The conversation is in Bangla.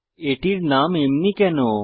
এটির নাম এমনি কেন